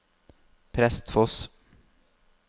Prestfoss